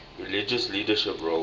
religious leadership roles